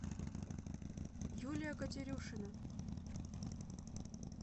юлия катерюшина